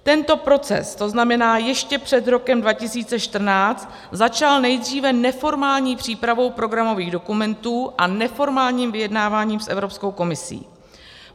Tento proces, to znamená ještě před rokem 2014, začal nejdříve neformální přípravou programových dokumentů a neformálním vyjednáváním s Evropskou komisí.